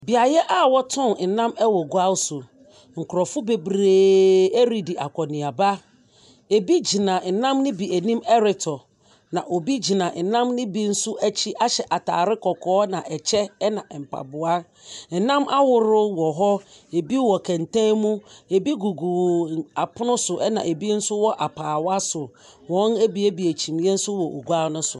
Beaeɛ a wɔtɔn nam wɔ gua so. Nkurɔfo bebreeee redi akɔneaba. Ɛbi gyina ɛnam no bi anim retɔ, na obi gyina ɛnam no bi nso ahyɛ atare kɔkɔɔ,, na ɛkyɛ, na mpaboa. Ɛnam ahorow wɔ hɔ. Ebi wɔ kɛntɛn mu, ebi gugu apon so ɛna ebi nso wɔ apaawa so. Wɔn abiebie kyimii nso wɔ gua so.